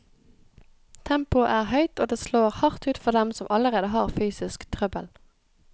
Tempoet er høyt, og det slår hardt ut for dem som allerede har fysisk trøbbel.